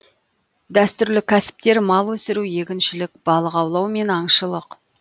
дәстүрлі кәсіптері мал өсіру егіншілік балық аулау мен аңшылық